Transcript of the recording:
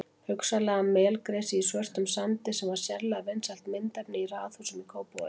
Hugsanlega melgresi í svörtum sandi sem var sérlega vinsælt myndefni í raðhúsum í Kópavogi.